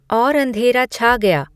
और अँधेरा छा गया